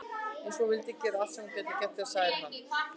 Eins og hún vilji gera allt sem hún geti til þess að særa hann ekki.